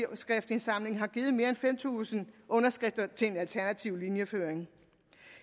underskriftindsamling har givet mere end fem tusind underskrifter til en alternativ linjeføring